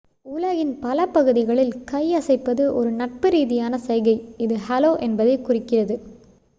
"உலகின் பல பகுதிகளில் கை அசைப்பது ஒரு நட்பு ரீதியான சைகை இது "ஹலோ" என்பதைக் குறிக்கிறது.